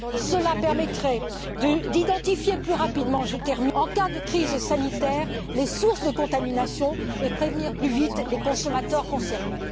Cela permettrait d'identifier plus rapidement, en cas de crise sanitaire, les sources de contamination et de prévenir plus vite les consommateurs concernés.